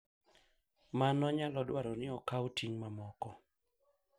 Mano nyalo dwaro ni okaw ting’ mamoko,